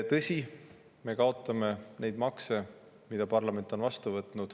Tõsi, me kaotame neid makse, mida parlament on vastu võtnud.